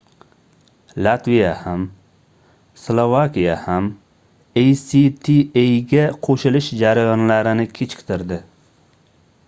latviya ham slovakiya ham actaga qoʻshilish jarayonlarini kechiktirdi